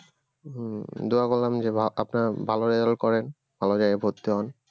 উম দোয়া করলাম যে ভা আপনার ভালো result করেন ভালো জায়গায় ভর্তি হন